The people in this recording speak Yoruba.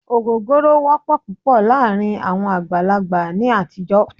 Ògógóró wọ́pọ̀ púpọ̀ láàárín àwọn àgbàlagbà ní àtijọ́.